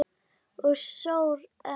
Og sór enn.